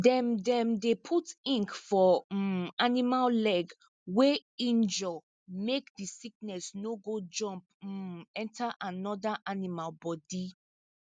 dem dem dey put ink for um animal leg wey injure make the sickness no go jump um enter another animal body